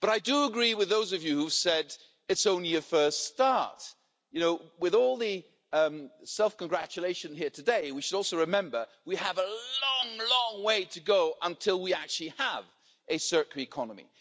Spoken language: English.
I do agree with those of you who said it's only a first step. With all the self congratulation here today, we should also remember that we have a long, long way to go until we actually have a circular economy.